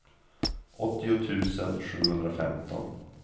åttio tusen sjuhundrafemton